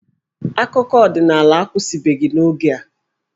Akụkọ ọdịnala akwụsịbeghị n'oge a.